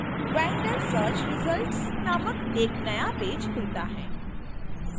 vendor search results नामक एक नया पेज खुलता है